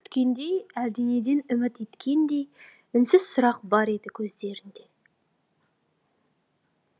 әлдене күткендей әлденеден үміт еткендей үнсіз сұрақ бар еді көздерінде